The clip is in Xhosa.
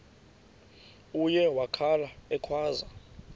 uye wakhala ekhwaza